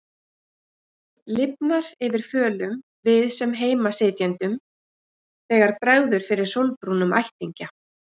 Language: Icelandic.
Lifnar yfir fölum við-sem-heima-sitjendum þegar bregður fyrir sólbrúnum ættingja.